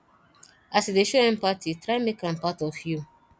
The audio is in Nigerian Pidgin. as yu dey show empathy try mek am part of yu